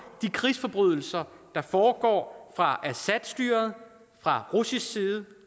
de krigsforbrydelser der foregår fra assadstyret fra russisk side